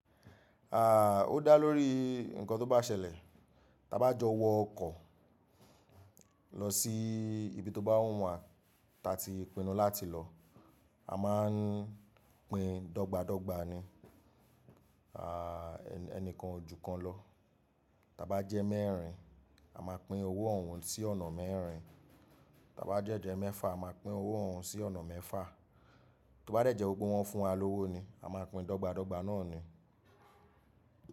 À, ó dá lórí nǹkan tó bá ṣẹlẹ̀. Tí a bá jọ wọ ọkọ̀ lọ sí ibi tó bá wù wá ta ti pinnu láti lọ, a máa ń pín dọ́gba dọ́gba ni, à ẹni kan ojú kan lọ. Tí a bá jẹ́ mẹ́rin, a máa pín owó òhún sí ọ̀nà mẹ́rin. Tí a bá dẹ́ jẹ́ mẹ́fà, a máa pín owó òhún sí ọ̀nà mẹ́fà. Tí ó bá dẹ̀ jẹ́ wipe wọ́n fún wa lọ́wọ́ ni, a máa pín dọ́gba dọ́gba náà ni.